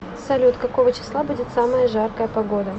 салют какого числа будет самая жаркая погода